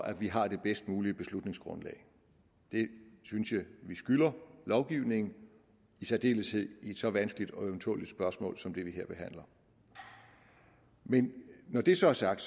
at vi har det bedst mulige beslutningsgrundlag det synes jeg at vi skylder lovgivningen i særdeleshed i et så vanskeligt og ømtåleligt spørgsmål som det vi her behandler man når det så er sagt